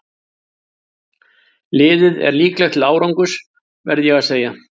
Liðið er líklegt til árangurs verð ég að segja.